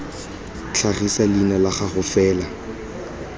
tlhagise leina la gago fela